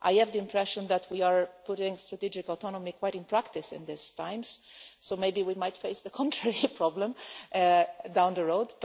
I have the impression that we are putting strategic autonomy in practice in these times, so maybe we might face the contrary problem down the road.